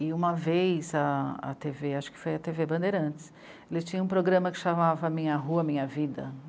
E uma vez a tê vê, acho que foi a tê vê Bandeirantes, eles tinham um programa que chamava Minha Rua, Minha Vida.